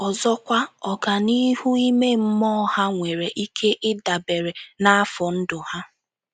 Ọzọkwa, ọganihu ime mmụọ ha nwere ike ịdabere n'afọ ndụ ha.